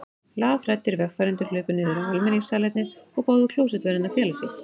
Lafhræddir vegfarendur hlupu niður á almenningssalernið og báðu klósettvörðinn að fela sig.